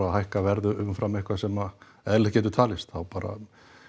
að hækka verð umfram eitthvað sem eðlilegt getur talist þá bara